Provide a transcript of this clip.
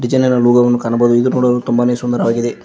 ಕಾಣಬಹುದು ಇದು ನೋಡಲು ತುಂಬಾನೆ ಸುಂದರವಾಗಿದೆ.